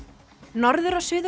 norður og Suður